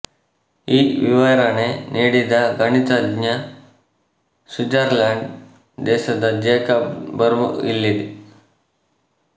ಈ ವಿವರಣೆ ನೀಡಿದ ಗಣಿತಜ್ನ ಸ್ವಿಟ್ಜರ್ಲಾಂಡ್ ದೇಶದ ಜೇಕಬ್ ಬರ್ನುಇಲ್ಲಿ